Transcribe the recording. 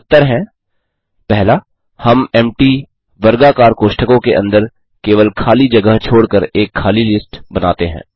और उत्तर है 1हम emptyempty वर्गाकार कोष्ठकों के अंदर केवल खाली जगह छोडकर एक खाली लिस्ट बनाते हैं